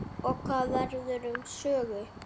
Og hvað verður um Sögu?